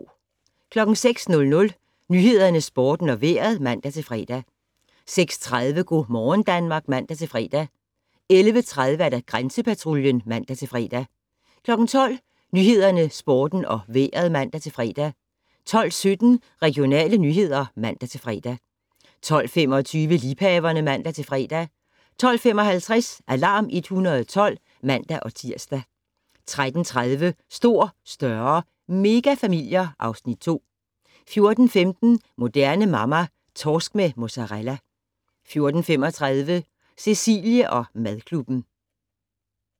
06:00: Nyhederne, Sporten og Vejret (man-fre) 06:30: Go' morgen Danmark (man-fre) 11:30: Grænsepatruljen (man-fre) 12:00: Nyhederne, Sporten og Vejret (man-fre) 12:17: Regionale nyheder (man-fre) 12:25: Liebhaverne (man-fre) 12:55: Alarm 112 (man-tir) 13:30: Stor, større - megafamilier (Afs. 2) 14:15: Moderne Mamma - Torsk med mozzarella 14:35: Cecilie & madklubben